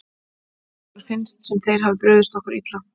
Okkur finnst sem þeir hafi brugðist okkur illa.